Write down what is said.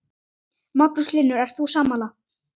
Magnús Hlynur: Ert þú sammála?